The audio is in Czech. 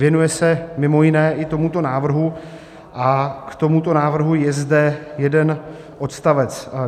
Věnuje se mimo jiné i tomuto návrhu a k tomuto návrhu je zde jeden odstavec.